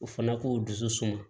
O fana k'o dusu suma